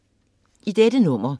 I dette nummer